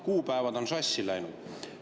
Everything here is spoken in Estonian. Kuupäevad on sassi läinud.